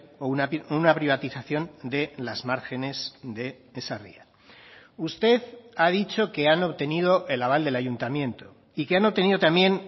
o una privatización de las márgenes de esa ría usted ha dicho que han obtenido el aval del ayuntamiento y que han tenido también